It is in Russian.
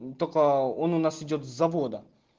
ну только он у нас идёт с завода